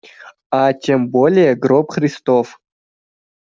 а тем более гроб христов